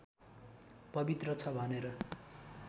पवित्र छ भनेर